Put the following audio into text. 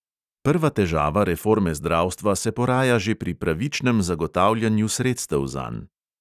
Prva težava reforme zdravstva se poraja že pri pravičnem zagotavljanju sredstev zanj.